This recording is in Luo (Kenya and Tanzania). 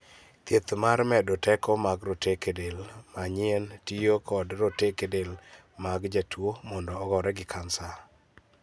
Thieth mar medo teko mag roteke del, ma nyien, tiyo kod roteke del mag jatuo mondo ogore gi kansa.